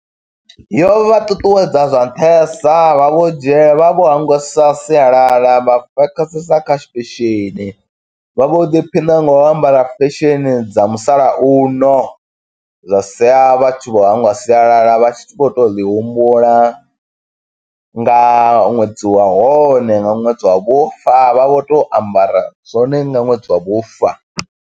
Yo vha ṱuṱuwedza zwa nṱhesa, vha vho dzhie vha vho hangwesa sialala vha fokhasesa kha fesheni. Vha vho ḓiphina nga u ambara fesheni dza musalauno, zwa siya vha tshi vho hangwa sialala. Vha tshi vho to ḽi humbula nga ṅwedzi wa hone, nga ṅwedzi wa vhufa. Vha vho to ambara zwone nga ṅwedzi wa vhufa.